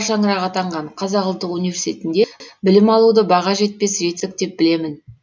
қара шаңырағы атанған қазақ ұлттық университетінде білім алуды баға жетпес жетістік деп білемін